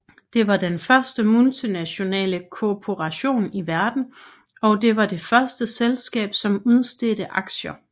Det var den første multinationale korporation i verden og det var det første selskab som udstedte aktier